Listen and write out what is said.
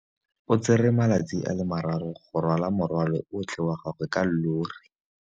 O tsere malatsi a le marraro go rwala morwalo otlhe wa gagwe ka llori.